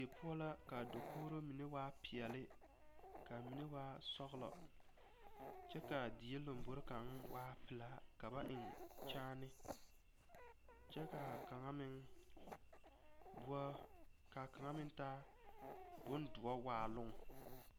Die poɔ la ka dakogro mine waa peɛle k,a mine waa sɔglɔ kyɛ k,a die lambori kaŋ waa pelaa ka ba eŋ kyaane kyɛ k,a kaŋa meŋ waa ka kaŋa meŋ taa bondoɔ waaloŋ.